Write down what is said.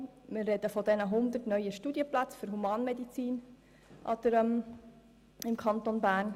Wir sprechen von den 100 neuen Studienplätzen für Humanmedizin im Kanton Bern.